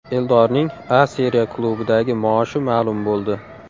Eldorning A Seriya klubidagi maoshi ma’lum bo‘ldi !